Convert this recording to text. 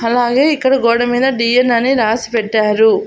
అలాగే ఇక్కడ గోడ మీద డి_ఎన్ అని రాసి పెట్టారు.